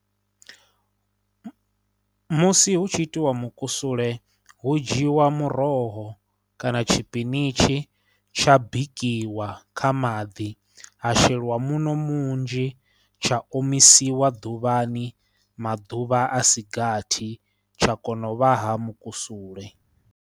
Musi hu tshi itiwa mukusule hu dzhiwa muroho kana tshipinitshi tsha bikiwa kha maḓi ha sheliwa muṋo munzhi, tsha omisiwa ḓuvhani maḓuvha a si gathi tsha kona u vha ha mukusule.